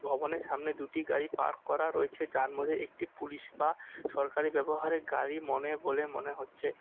ভবনের সামনে দুটি গাড়ি পার্ক করা রয়েছে যার মধ্যে একটি পুলিশ বা সরকারি ব্যবহারে গাড়ি মনে বলে মনে হচ্ছে।